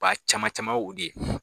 caman caman ye o de